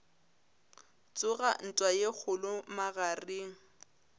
tsoga ntwa ye kgolo magareng